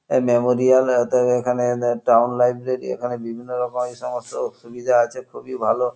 এ memorial এত এব এখানে নে টাউন লাইব্রেরি । এখানে বিভিন্ন রকম এইসমস্ত সুবিধা আছে। খুবই ভালো।